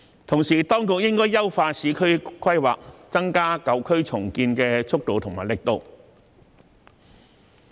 同時，當局應該優化市區規劃，增加舊區重建的速度和力度。